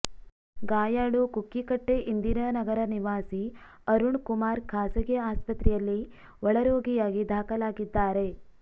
ಗಾಯಾಳು ಕುಕ್ಕಿಕಟ್ಟೆ ಇಂದಿರಾನಗರ ನಿವಾಸಿ ಅರುಣ್ ಕುಮಾರ್ ಖಾಸಗಿ ಆಸ್ಪತ್ರೆಯಲ್ಲಿ ಒಳರೋಗಿಯಾಗಿ ದಾಖಲಾಗಿದ್ದಾರೆ